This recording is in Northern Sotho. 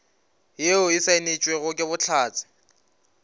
yeo e saenetšwego ke bohlatse